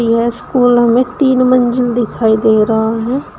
यह स्कूल हमें तीन मंजिल दिखाई दे रहा है।